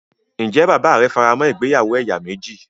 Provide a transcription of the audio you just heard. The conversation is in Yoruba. Ǹjẹ́ bàbáà rẹ faramọ́ ìgbéyàwó ẹ̀yà méjì.